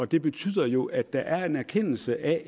det betyder jo at der i virkeligheden er en erkendelse af